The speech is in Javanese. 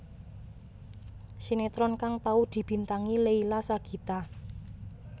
Sinetron kang tau dibintangi Leily Sagita